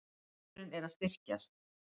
Hópurinn er að styrkjast.